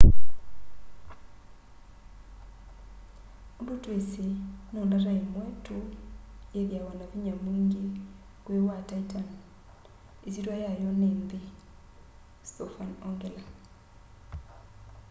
undu twisi no ndata imwe tu yithiawa na vinya mwingi kwi wa titan isyitya yayo ni nthi stofan ongela